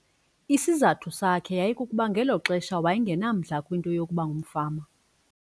Isizathu sakhe yayikukuba ngelo xesha waye ngenamdla kwinto yokuba ngumfama.